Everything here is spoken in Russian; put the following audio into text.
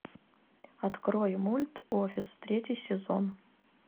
открой мульт офис третий сезон